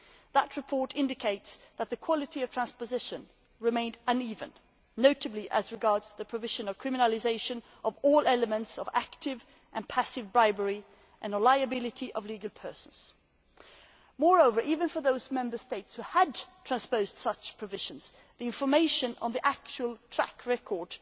That report indicates that the quality of transposition remained uneven, notably as regards criminalisation of all elements of active and passive bribery and reliability of legal persons. Moreover, even for those Member States who had transposed such provisions, the information on the actual track record